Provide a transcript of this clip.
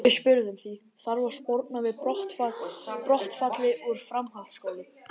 Við spurðum því, þarf að sporna við brottfalli úr framhaldsskólum?